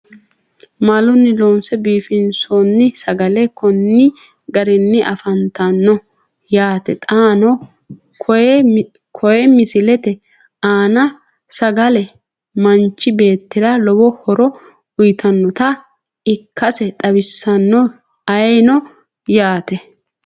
Maalunni loonse biifinsoonni sagale konni garinni afanttanno yaatte xaanno koye misilette aanna. Salagale manchi beettira lowo horo uyiittannotta ikkasse xawissanno ayiinno yaatte